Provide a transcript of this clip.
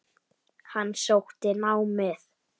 Hann sótti námið.